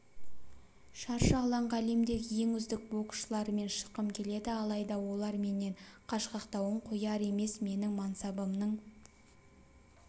шаршы алаңға әлемдегі ең үздік боксшылармен шыққым келеді алайда олар менен қашқақтауын қояр емес менің мансабымның